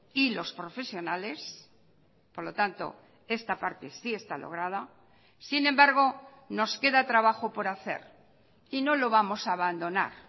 y los profesionales por lo tanto esta parte sí está lograda sin embargo nos queda trabajo por hacer y no lo vamos a abandonar